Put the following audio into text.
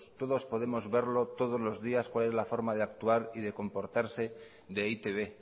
todos podemos verlo todos los días cuál es la forma de actuar y de comportarse de e i te be